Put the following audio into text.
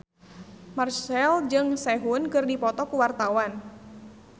Marchell jeung Sehun keur dipoto ku wartawan